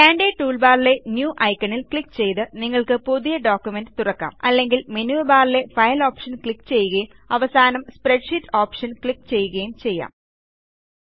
standard ടൂൾബാറിലെ new ഐക്കണിൽ click ചെയ്ത് നിങ്ങൾക്ക് പുതിയൊരു ഡോക്യുമെന്റ് തുറക്കാം അല്ലെങ്കിൽ മെനു ബാറിലെ ഫൈൽ ഓപ്ഷൻ ക്ലിക്ക് ചെയ്യുകയും അവസാനം സ്പ്രെഡ്ഷീറ്റ് ഓപ്ഷൻ ക്ലിക്ക് ചെയ്യുകയും ചെയ്യുക